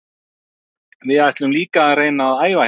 Við ætlum líka að reyna að æfa hérna.